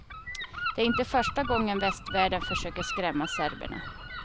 Det är inte första gången västvärlden försöker skrämma serberna.